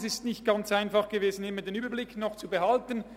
Es war nicht ganz einfach, immer den Überblick zu behalten.